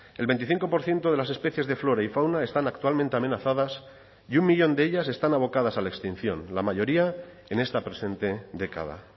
el veinticinco por ciento de las especies de flora y fauna están actualmente amenazadas y un millón de ellas están abocadas a la extinción la mayoría en esta presente década